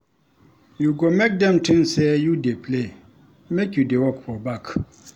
You go make dem tink sey you dey play make you dey work for back.